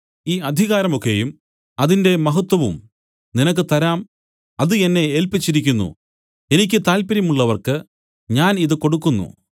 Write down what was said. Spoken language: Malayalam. ഈ അധികാരം ഒക്കെയും അതിന്റെ മഹത്വവും നിനക്ക് തരാം അത് എന്നെ ഏല്പിച്ചിരിക്കുന്നു എനിക്ക് താത്പര്യം ഉള്ളവർക്ക് ഞാൻ ഇതു കൊടുക്കുന്നു